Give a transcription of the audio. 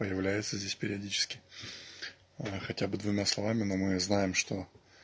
появляется здесь периодически хотя бы двумя словами но мы знаем что